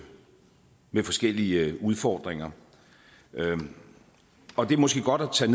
forskellige udfordringer og det er måske godt at tage